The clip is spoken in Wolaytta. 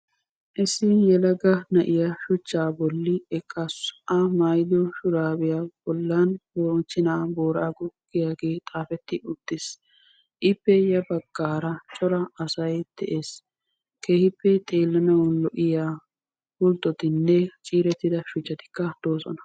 Issi yelagga na'iyaa shuchchaa bolli eqqasu a maayiddo shuraabbiya bollani moochchena booraggo giyaagge xaafetti uttis ippe ya baggara cora asay dees keehippe xeelanawu lo'iyaa pulttotinne ciirettidda shuchchatti doossona.